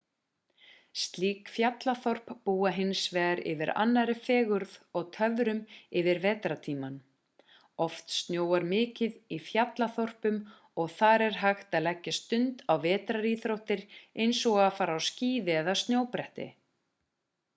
slík fjallþorp búa hins vegar yfir annarri fegurð og töfrum yfir vetrartímann oft snjóar mikið í fjallaþorpunum og þar er hægt að leggja stund á vetraríþróttir eins og að fara á skíði eða snjóbretti